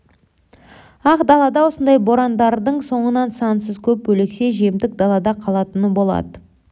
ақ далада осындай борандардың соңынан сансыз көп өлексе жемтік далада қалатыны болады